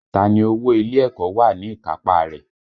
Ta ni owó ilé ẹ̀kọ́ wà ní ìkápá a rẹ̀?